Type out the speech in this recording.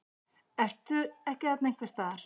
Ertu ekki þarna einhvers staðar?